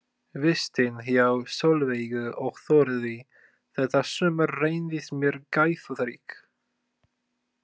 Vistin hjá Sólveigu og Þórði þetta sumar reyndist mér gæfurík.